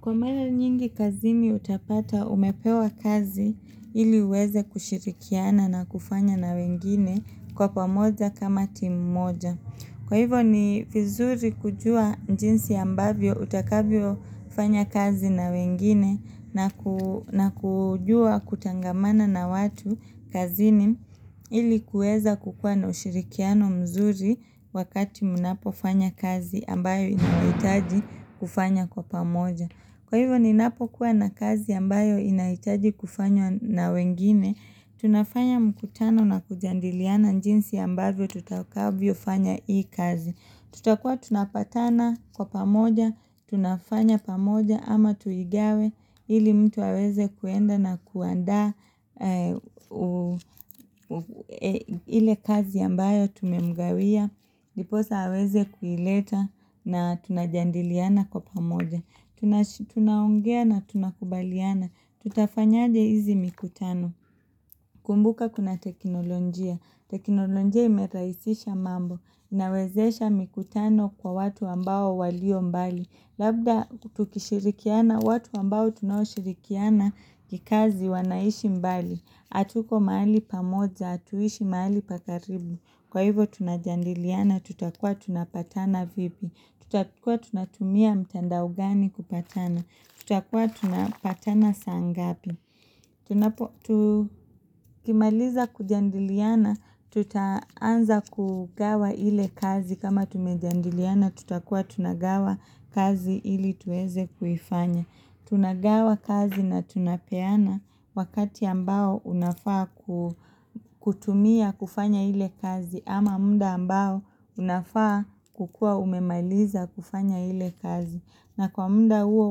Kwa mara nyingi kazini utapata umepewa kazi ili uweza kushirikiana na kufanya na wengine kwa pamoja kama timu moja. Kwa hivyo ni vizuri kujua jinsi ambavyo utakavyo fanya kazi na wengine na kujua kutangamana na watu kazini ili kuweza kukua na ushirikiano mzuri wakati mnapo fanya kazi ambayo inahitaji kufanya kwa pamoja. Kwa hivyo ni napo kuwa na kazi ambayo inahitaji kufanyo na wengine, tunafanya mkutano na kujadiliana jinsi ambavyo tutakavyo fanya hii kazi. Tutakua tunapatana kwa pamoja, tunafanya pamoja ama tuigawe ili mtu aweze kwenda na kuandaa ile kazi ambayo tumemgawia. Ndiposa aweze kuileta na tunajadiliana kwa pamoja Tunaongea na tunakubaliana Tutafanyaje hizi mikutano kumbuka kuna teknolojia teknolojia imerahisisha mambo Inawezesha mikutano kwa watu ambao walio mbali Labda tukishirikiana watu ambao tunaoshirikiana kikazi wanaishi mbali hatuko mahali pamoja, hatuishi mahali pa karibu Kwa hivyo tunajadiliana, tutakua tunapatana vipi, tutakua tunatumia mtandao gani kupatana, tutakua tunapatana saa ngapi. Tukimaliza kujadiliana, tutaanza kugawa ile kazi kama tumejadiliana, tutakua tunagawa kazi ili tuweze kufanya. Tunagawa kazi na tunapeana wakati ambao unafaa kutumia kufanya ile kazi ama muda ambao unafaa kukua umemaliza kufanya ile kazi na kwa muda huo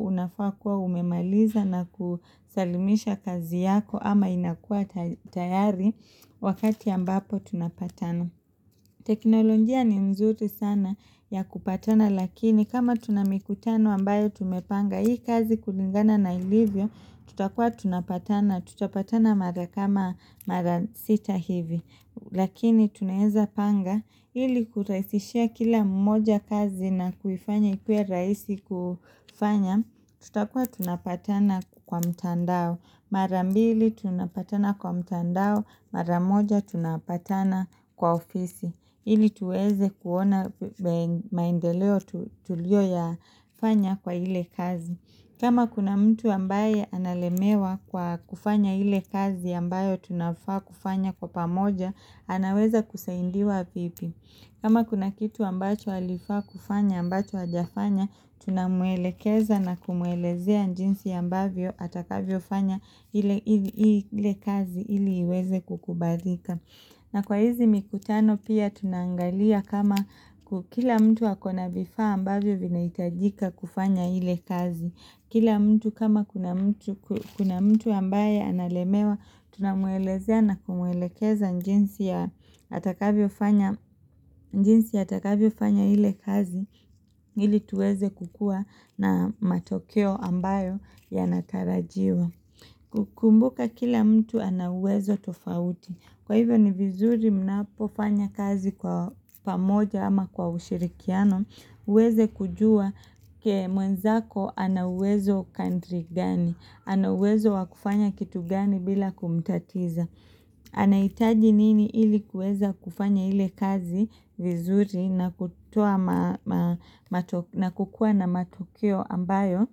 unafaa kuwa umemaliza na kusalimisha kazi yako ama inakua tayari wakati ambapo tunapatana. Teknolojia ni mzuri sana ya kupatana lakini kama tunamikutano ambayo tumepanga hii kazi kulingana na ilivyo tutakua tunapatana tutapatana mara kama mara sita hivi lakini tunaweza panga ili kurahisishia kila mmoja kazi na kufanya ikue rahisi kufanya tutakua tunapatana kwa mtandao marambili tunapatana kwa mtandao, maramoja tunapatana kwa ofisi ili tuweze kuona maendeleo tuliyo ya fanya kwa ile kazi kama kuna mtu ambaye analemewa kwa kufanya ile kazi ambayo tunafaa kufanya kwa pamoja anaweza kusaidiwa vipi kama kuna kitu ambacho alifaa kufanya ambacho hajafanya Tunamuelekeza na kumuelezea jinsi ya ambavyo atakavyo fanya ile kazi ili iweze kukubalika na kwa hizi mikutano pia tunaangalia kama kila mtu wakona vifaa ambavyo vina hitajika kufanya ile kazi Kila mtu kama kuna mtu ambaye analemewa, tunamwelezea na kumwelekeza jinsi ya atakavyo fanya ile kazi ili tuweze kukua na matokeo ambayo yanatarajiwa. Kukumbuka kila mtu ana uwezo tofauti. Kwa hivyo ni vizuri mna pofanya kazi kwa pamoja ama kwa ushirikiano muweze kujua mwenzako ana uwezo kandri gani ana uwezo wakufanya kitu gani bila kumtatiza anahitaji nini ili kuweza kufanya ile kazi vizuri na kukua na matokeo ambayo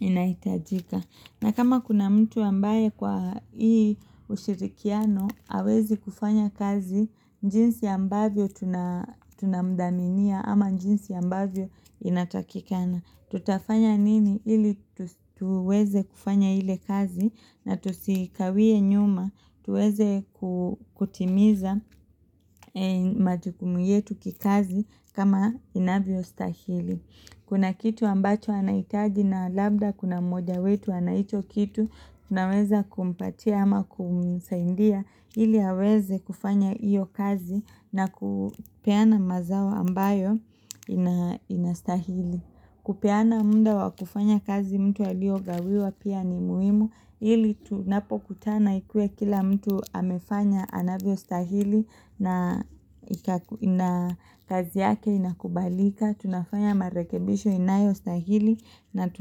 inaitajika na kama kuna mtu ambaye kwa hii ushirikiano, hawezi kufanya kazi, jinsi ambavyo tunamdhaminia ama jinsi ambavyo inatakikana. Tutafanya nini ili tuweze kufanya ile kazi na tusikawie nyuma, tuweze kutimiza majukumu yetu kikazi kama inavyo stahili. Kuna kitu ambacho anahitaji na labda kuna moja wetu ana hicho kitu, unaweza kumpatia ama kumisaidia, ili aweze kufanya iyo kazi na kupeana mazao ambayo inastahili. Kupeana muda wakufanya kazi mtu alio gawiwa pia ni muhimu Ili tunapokutana ikuwe kila mtu amefanya anavyo stahili na kazi yake inakubalika Tunafanya marekebisho inayo stahili na tunapokutana.